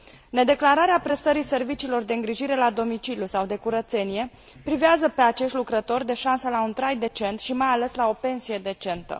Nedeclararea prestării serviciilor de îngrijire la domiciliu sau de curățenie privează pe acești lucrători de șansa la un trai decent și mai ales la o pensie decentă.